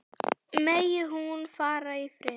Megi hún fara í friði.